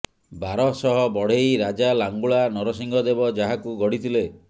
ବାରଶହ ବଢେଇ ରାଜା ଲାଙ୍ଗୁଳା ନରସିଂହ ଦେବ ଯାହାକୁ ଗଢ଼ିଥିଲେ